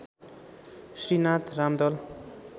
Shri Nath Ramdal